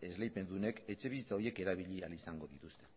esleipendunek etxebizitza horiek erabili ahal izango dituzte